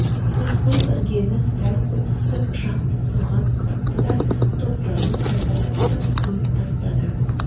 рысқұл іргені сәл қопсытып пышақты соған тықты да топырағын қайта таптап көміп тастады